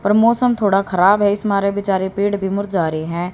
और मौसम थोड़ा खराब है इस मारे बेचारे पेड़ भी मर जा रहे हैं।